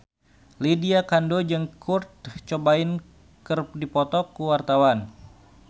Lydia Kandou jeung Kurt Cobain keur dipoto ku wartawan